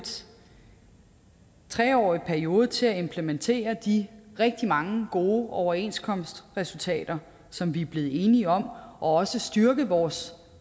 tre årig periode til at implementere de rigtig mange gode overenskomstresultater som vi er blevet enige om og også styrke vores